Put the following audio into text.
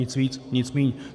Nic víc, nic míň.